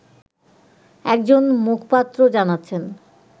একজন মুখপাত্র জানাচ্ছেন